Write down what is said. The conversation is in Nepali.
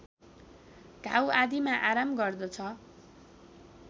घाउ आदिमा आराम गर्दछ